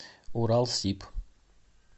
уралсиб